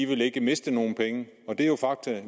ville miste nogen penge men det er jo fakta